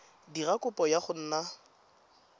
dira kopo ya go nna